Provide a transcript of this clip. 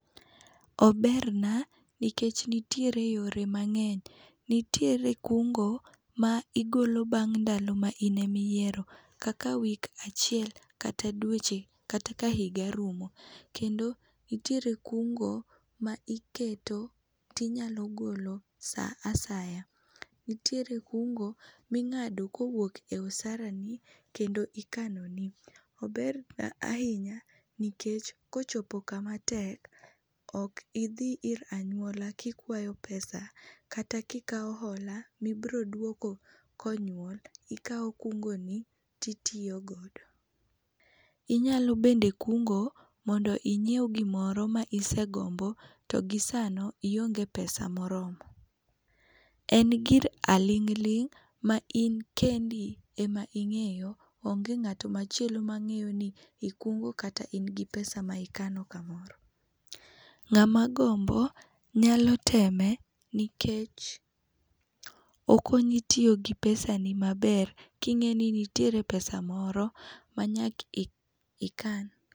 Oberna nikech nitiere yore mangeny. nitiere kungo ma igolo bang ndalo ma in ema iyiero kaka week achiel kata dweche kata ka higa rumo. Kendo nitiere kungo ma iketo to inyalo keto saa asaya, nitiere kungo mingado kowuok kuom osarani kendo ikanoni. Ober na ahinya nikech kochopo kama matek ok idhi ir anyuola kikwayo pesa kata kikaw hola mibiro duoko ka onyuol, Ikaw kungoni titiyo godo. Inyalo bend ekungo mondo inyiew gimoro ma isegombo to gisano ionge pesa moromo. En gir aling ling ma in kendi ema ingeyo, onge ngat machielo ma ngeyo ni ikungo kata in gi pesa ma ikano kamoro. Ngama gombo nyalo teme nikech okonyi tiyo gi pesa ni maber kingeni nitiere pesa moro manyaka ikan